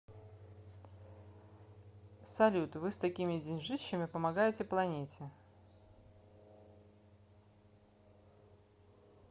салют вы с такими деньжищами помогаете планете